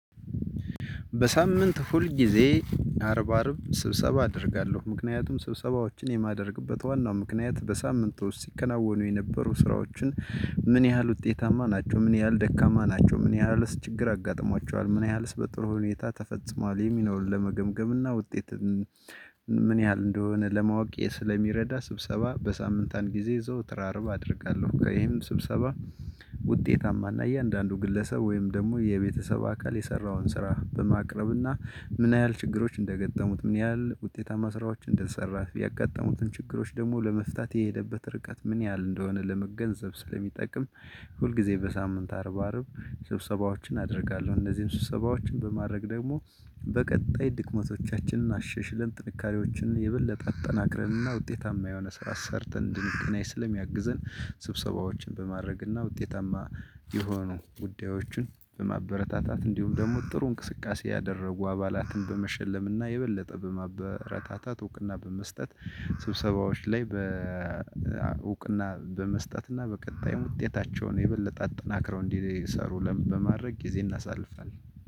በሳምንት ሁልጊዜ አርብ አርብ ስብሰባ አደርጋለሁ ምክንያቱም ስብሰባዎችን የማደርግበት ዋናው ምክንያት በሳምንቱ ውስጥ ሲከናወኑ የነበሩ ስራዎችን? ምን ያህል ውጤታማ ናቸው ምን ያህል ደካማ ናቸው ምን ያህል ችግር አጋጥሟቸዋል ምን ያህልስ በጥሩ ሁኔታ ተፈጽሟል። የሚኖር ለመገምገምና ውጤትን ምን ያህል እንደሆነ ለማወቅ ስለሚረዳ ስብሰባ በሳምንት አንድ ጊዜ ዘወትር አርብ አደርጋለሁ። ይሄም ስብሰባ ውጤታማ እና እያንዳንዱ ግለሰብ ወይም ደግሞ የቤተሰብ አካል የሰራውን ስራ በማቅረብና ምን ያህል ችግሮች እንደገጠሙት ምን ያህል ውጤታማ ስራዎች እንደሰራ ያጋጠሙትን ችግሮች ደግሞ ለመፍታት የሄደበት ርቀት ምን ያህል እንደሆነ ለመገንዘብ ስለሚጠቅም። ሁልጊዜ በሳምንት አርብ አርብ ስብሰባዎችን አደርጋለሁ። እነዚህን ስብሰባዎችን በማድረግ ደግሞ በቀጣይ ድክመቶቻችንን አሸሽልን ጥንካሬዎችን የበለጠ አጠናክረንና ውጤታማ የሆነ ስራ ሰርተን እንድንገናይ ስለሚያግዘን። ስብሰባዎችን በማድረግና ውጤታማ የሆኑ ጉዳዮችን በማበረታታት እንዲሁም ደግሞ ጥሩ እንቅስቃሴ ያደረጉ አባላትን በመሸለምና የበለጠ በማበረታታት እውቅና በመስጠት። ስብሰባዎች ላይ በእውቅና በመስጠትና በቀጣይ ውጤታቸውን የበለጠ አጠናክረው እንዲሰሩልን በማድረግ ጊዜ እናሳልፋለን።